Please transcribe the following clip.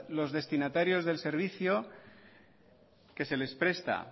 los destinatarios el servicio que se les presta